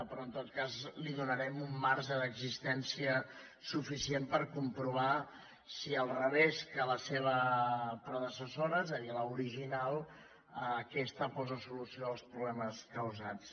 però en tot cas li donarem un marge d’existència suficient per comprovar si al revés que la seva predecessora és a dir l’original aquesta posa solució als problemes causats